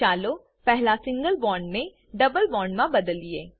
ચાલો પહેલા સિંગલ બોન્ડને ડબલ બોન્ડમા બદલીએ